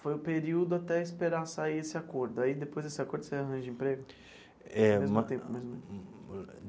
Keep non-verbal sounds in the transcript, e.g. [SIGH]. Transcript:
Foi um período até esperar sair esse acordo, aí depois desse acordo você arranja emprego? É. [UNINTELLIGIBLE]